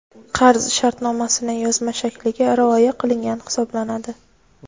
qarz shartnomasining yozma shakliga rioya qilingan hisoblanadi.